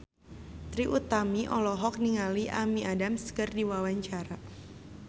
Trie Utami olohok ningali Amy Adams keur diwawancara